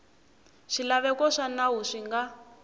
swilaveko swa nawu swi nga